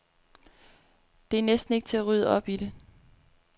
Det er næsten ikke til at rydde op i det.